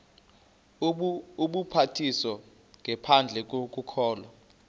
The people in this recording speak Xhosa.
ubhaptizo ngaphandle kokholo